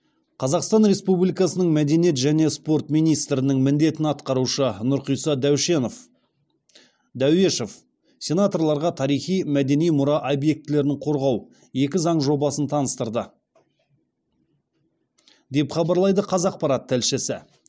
қазақстан республикасының мәдениет және спорт министрінің міндетін атқарушы нұрқиса дәуешов сенаторларға тарихи мәдени мұра объектілерін қорғау екі заң жобасын таныстырды деп хабарлайды қазақпарат тілшісі